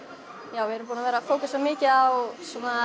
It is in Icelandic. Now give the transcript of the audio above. já við erum búin að vera að fókusa mikið á